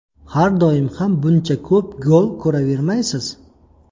Har doim ham buncha ko‘p gol ko‘ravermaysiz.